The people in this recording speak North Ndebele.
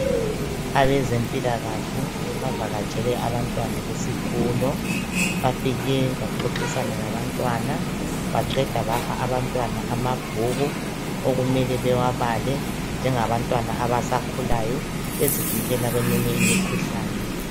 Abazempilakahle bavakatshele abantwana besikolo. Bafike baxoxisana labantwana, baqeda bapha abantwana amabhuku okumele bawabale bezivikele eminye imikhuhlane.